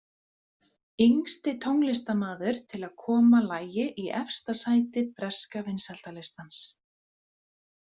Yngsti tónlistarmaður til að koma lagi í efsta sæti breska vinsældarlistans!